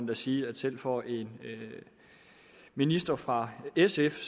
da sige at selv for en minister fra sf